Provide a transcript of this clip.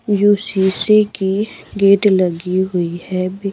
UCC की gate लगी हुई है--